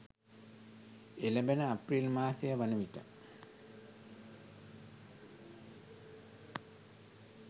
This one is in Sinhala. එළැඹෙන අප්‍රේල් මාසය වන විට